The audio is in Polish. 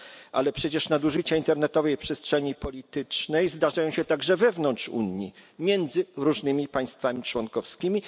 Ale przecież nadużycia internetowej przestrzeni politycznej zdarzają się także wewnątrz Unii, między różnymi państwami członkowskimi.